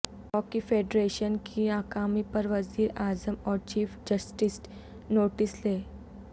hockey federation کی ناکامی پر وزیر اعظم اور چیف جسٹس نوٹس لیں